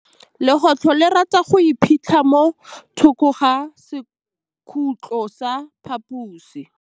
Legôtlô le rata go iphitlha mo thokô ga sekhutlo sa phaposi.